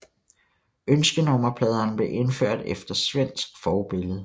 Ønskenummerpladerne blev indført efter svensk forbillede